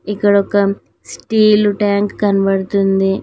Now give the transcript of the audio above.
ఇక్కడ ఒక steel tank కనబడుతుంది.